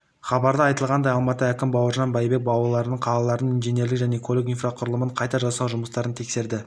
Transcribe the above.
хабарда айтылғандай алматы әкімі бауыржан байбек аулаларды қаланың нженерлік және көлік инфрқұрылымын қайта жасау жұмыстарын тексерді